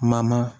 Mama